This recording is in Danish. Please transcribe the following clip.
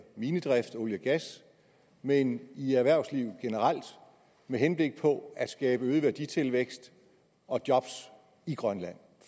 minedrift og olie og gas men i erhvervslivet generelt med henblik på at skabe øget værditilvækst og job i grønland